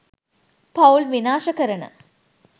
පවුල් විනාශ කරන